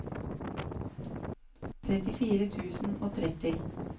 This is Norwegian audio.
trettifire tusen og tretti